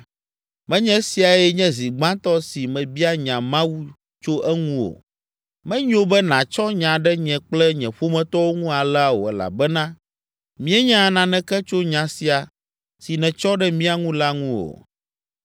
Menye esiae nye zi gbãtɔ si mebia nya Mawu tso eŋu o! Menyo be nàtsɔ nya ɖe nye kple nye ƒometɔwo ŋu alea o elabena míenya naneke tso nya sia si nètsɔ ɖe mía ŋu la ŋu o.”